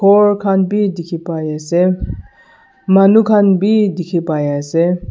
khor khan bi dikhipaiase manu khan bi dikhipaiase.